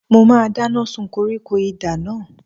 Mo máa dáná sun koríko idà náà.